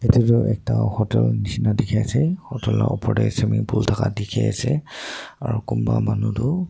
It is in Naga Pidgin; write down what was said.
etu tu ekta hotel nisna dekhi ase hotel laga opor te swimming pool thaka dekhi ase aru kunba manu tu --